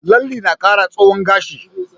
Lalle na kara tsawon gashi